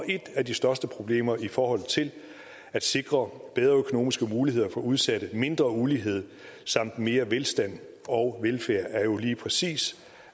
et af de største problemer i forhold til at sikre bedre økonomiske muligheder for udsatte mindre ulighed samt mere velstand og velfærd er jo lige præcis